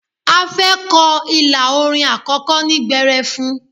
A fẹ́ kọ ilà orin àkọ́kọ́ ní gbẹrẹfun.